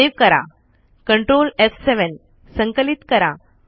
save करा ctrl एफ7 संकलित करा